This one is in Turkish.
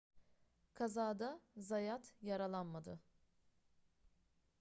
kazada zayat yaralanmadı